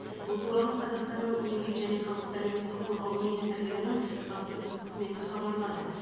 бұл туралы қазақстанның еңбек және халықты әлеуметтік қорғау министрлігінің баспасөз қызметі хабарлады